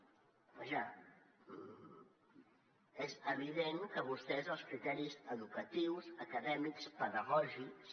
vaja és evident que vostès els criteris educatius acadèmics pedagògics